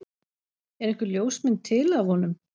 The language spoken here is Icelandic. Er einhver ljósmynd til af honum?